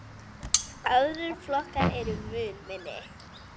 Aðrir flokkar eru mun minni.